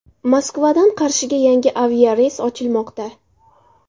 Moskvadan Qarshiga yangi aviareys ochilmoqda.